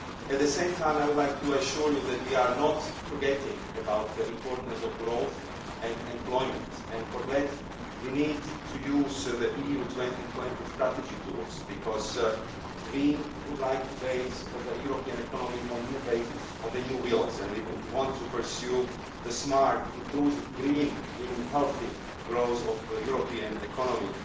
At the same time, I would like to assure you that we have not forgotten the importance of growth and employment. For that, we need to use the EU 2020 strategy tools, because we would like to set the European economy on new bases, on new wheels, and we want to pursue the smart inclusive green meaning healthy growth of the European economy.